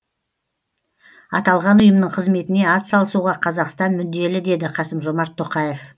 аталған ұйымның қызметіне атсалысуға қазақстан мүдделі деді қасым жомарт тоқаев